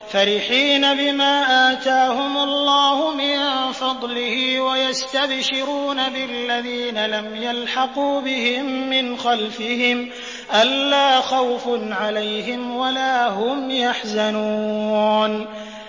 فَرِحِينَ بِمَا آتَاهُمُ اللَّهُ مِن فَضْلِهِ وَيَسْتَبْشِرُونَ بِالَّذِينَ لَمْ يَلْحَقُوا بِهِم مِّنْ خَلْفِهِمْ أَلَّا خَوْفٌ عَلَيْهِمْ وَلَا هُمْ يَحْزَنُونَ